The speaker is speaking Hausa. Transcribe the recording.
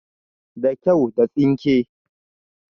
Da kyau, da tsinke